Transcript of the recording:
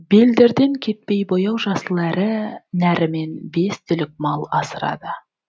белдерден кетпей бояу жасыл әрі нәрімен бес түлік мал асырады